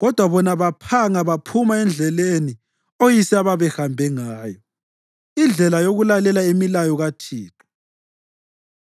kodwa bona baphanga baphuma endleleni oyise ababehambe ngayo, indlela yokulalela imilayo kaThixo.